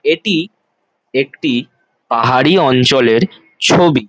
এটি একটি পাহাড়ি অঞ্চলের ছবি ।